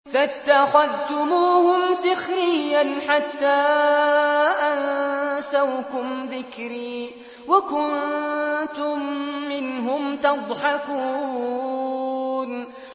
فَاتَّخَذْتُمُوهُمْ سِخْرِيًّا حَتَّىٰ أَنسَوْكُمْ ذِكْرِي وَكُنتُم مِّنْهُمْ تَضْحَكُونَ